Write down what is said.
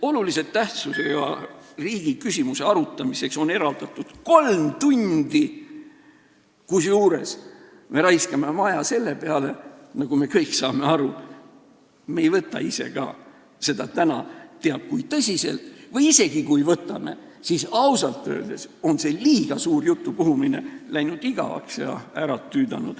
Olulise tähtsusega riikliku küsimuse arutamiseks on eraldatud kolm tundi, kusjuures me raiskame oma aja ära, nagu me kõik aru saame, sest me ei võta ise ka seda täna teab kui tõsiselt või isegi kui võtame, siis ausalt öeldes on see liiga suur jutupuhumine läinud igavaks ja ära tüüdanud.